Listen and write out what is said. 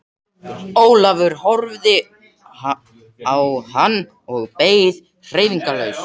Ólafur horfði á hann og beið hreyfingarlaus.